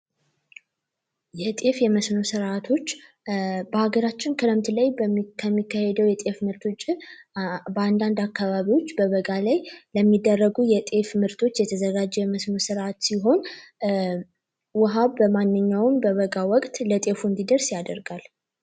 የጤፍ የመሰኖ ስርዓቶች በአገራችን ክረምት ላይ በሚካሄደው የጤፍ ምርቶችን በአንዳንድ አካባቢዎች በበጋ ላይ የሚደረጉ የጤፍ ምርቶች የተዘጋጀ ስርአት ሲሆን ውሃ በማንኛውም ወቅት ለገበሬው እንዲደርስ ያደርጋል።